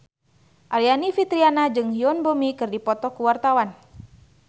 Aryani Fitriana jeung Yoon Bomi keur dipoto ku wartawan